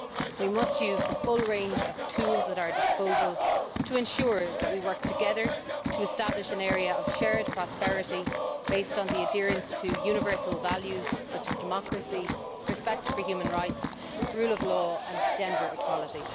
We must use the full range of tools at our disposal to ensure that we work together to establish an area of shared prosperity, based on the adherence to universal values, such as democracy, respect for human rights, the rule of law and gender equality.